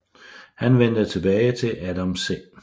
Han vendte tilbage til Adam C